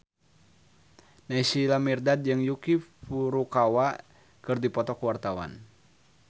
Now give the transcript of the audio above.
Naysila Mirdad jeung Yuki Furukawa keur dipoto ku wartawan